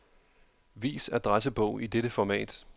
Vis adressebog i dette format.